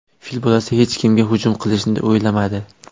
Fil bolasi hech kimga hujum qilishni o‘ylamadi.